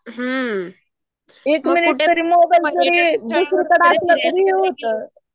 हं